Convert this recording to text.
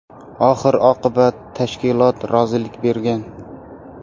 Oxir-oqibat tashkilot rozilik bergan.